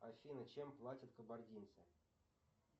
афина чем платят кабардинцы